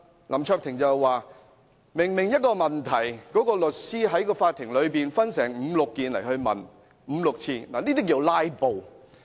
林卓廷議員則說，同一個問題律師在法庭內分五六次來問，這叫做"拉布"。